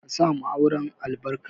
Ka sa wa auren albarka.